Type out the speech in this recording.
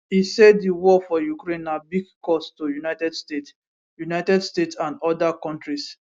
e say di war for ukraine na big cost to united states united states and oda kontris